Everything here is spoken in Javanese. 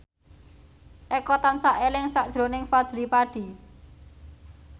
Eko tansah eling sakjroning Fadly Padi